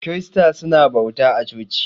Kirista su na bauta a coci.